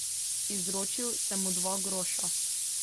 Izročil sem mu dva groša.